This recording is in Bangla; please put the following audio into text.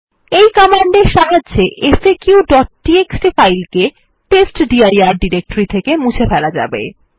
এই কমান্ডের সাহায্যে faqটিএক্সটি ফাইল কে টেস্টডির ডিরেক্টরি থেকে মুছে ফেলা যাবে